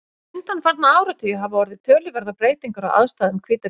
undanfarna áratugi hafa orðið töluverðar breytingar á aðstæðum hvítabjarna